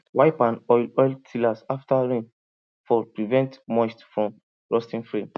wipe and oil oil tiller after rainfall prevent moisture from rusting frame